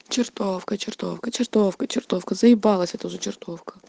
чертовка чертовка чертовка чертовка заебалось это уже чертов